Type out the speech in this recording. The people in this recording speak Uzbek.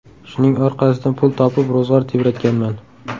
Shuning orqasidan pul topib, ro‘zg‘or tebratganman.